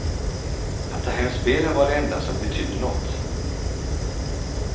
Att ta hem spelen var det enda som betydde nåt.